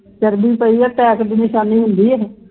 ਚਰਬੀ ਪਈ ਹੈ attack ਦੀ ਨਿਸ਼ਾਨੀ ਹੁੰਦੀ ਹੈ